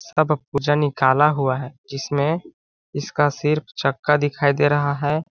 सब पूजा निकाला हुआ है जिसमें इसका सिर्फ चक्का दिखाई दे रहा है।